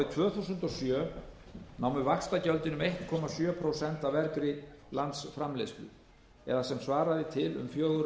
tvö þúsund og sjö námu vaxtagjöldin um einn komma sjö prósent af vergri landsframleiðslu það er sem svaraði til um fjögur